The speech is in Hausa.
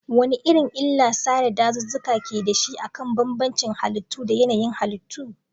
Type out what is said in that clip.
Wane irin illar sare dazuzzuka ke da shi akan bambancin halittu da yanayin halittu?